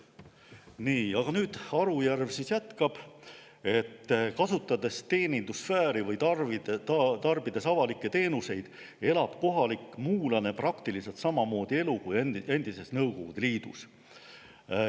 Nii, aga Arujärv jätkab: "Kasutades teenindussfääri või tarbides avalikke teenuseid, elab kohalik muulane praktiliselt sama mugavat elu kui endises Nõukogude Liidus.